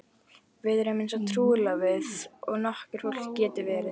Við erum eins trúlofuð og nokkurt fólk getur verið.